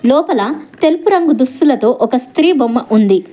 లోపల తెలుపు రంగు దుస్తులతో ఒక స్త్రీ బొమ్మ ఉంది.